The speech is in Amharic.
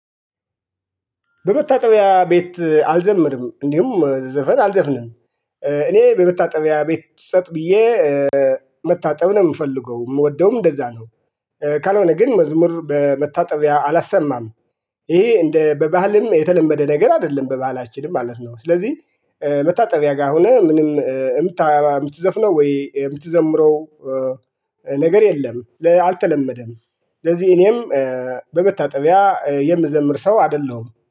በመታጠቢያ ቤት አልዘምርም እንዲሁም ዘፈን አልዘፍንም። እኔ በመታጠቢያ ቤት ጸጥ ብዬ መታጠብ ነው የምፈልገው የምወደውም እንደዛ ነው። ካልሆነ ግን መዝሙር በመታጠቢያ አላሰማም። ይሄ እንደ በባህልም የተለመደ ነገር አይደለም በባህላችንም ማለት ነው። ስለዚህ መታጠቢያ ጋር ሆነ ምንም የምትዘፍነው ወይ የምትዘምረው ነገር የለም አልተለመደም። ለዚህ እኔም በመታጠቢያ የምዘምር ሰው አይደለሁም